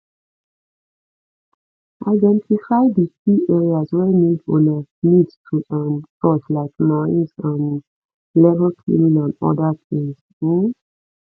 identify di key areas wey need una need to um touch like noise um level cleaning and oda things um